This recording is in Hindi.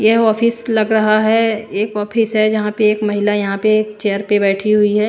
यह ऑफिस लग रहा है एक ऑफिस है जहां पे एक महिला यहां पे चेयर पे बैठी हुई है।